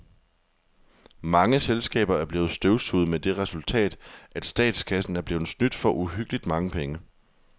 Mange selskaber er blevet støvsuget med det resultat, at statskassen er blevet snydt for uhyggeligt mange penge.